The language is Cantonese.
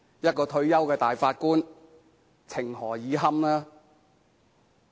一位退休大法官，情何以堪？